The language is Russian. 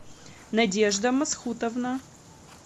надежда масхутовна